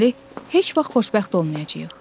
Deməli heç vaxt xoşbəxt olmayacağıq.